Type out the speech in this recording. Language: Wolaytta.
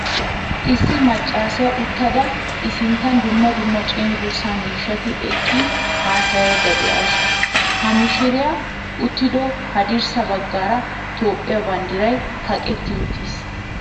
Issi maccasiyaa uttada i sinttan dumma dumma cenggurssa miishshati eqqin haasayiyda deawusu. Ha miishshiriyaa uttido haddirssa baggaara toophphiyaa banddiray kaqqetti uttiiis.